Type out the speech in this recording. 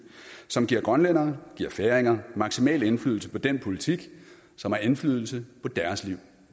som giver grønlændere og færinger maksimal indflydelse på den politik som har indflydelse på deres liv